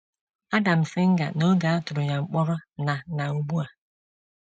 Ádám Szinger n’oge a tụrụ ya mkpọrọ na na ugbu a.